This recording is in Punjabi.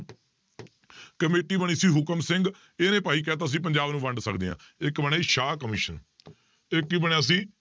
ਕਮੇਟੀ ਬਣੀ ਸੀ ਹੁਕਮ ਸਿੰਘ, ਇਹਨੇ ਭਾਈ ਕਹਿ ਦਿੱਤਾ ਸੀ ਪੰਜਾਬ ਨੂੰ ਵੰਡ ਸਕਦੇ ਹਾਂ, ਇੱਕ ਬਣੀ ਸ਼ਾਹ ਕਮਿਸ਼ਨ ਇੱਕ ਕੀ ਬਣਿਆ ਸੀ,